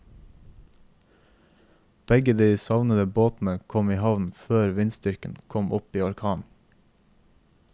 Begge de savnede båtene kom i havn før vindstyrken kom opp i orkan.